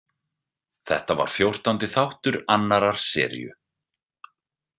Þetta var fjórtándi þáttur annarrar seríu.